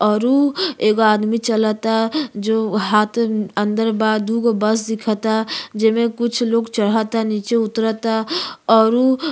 अउरु एगो आदमी चलता जो हाथ अंदर बा। दूगो बस दिखता जे मे कुछ लोग चढ़ता नीचे उतरत ता और उ --